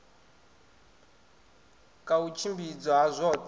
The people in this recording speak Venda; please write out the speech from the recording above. ka u tshimbidzwa ha zwoṱhe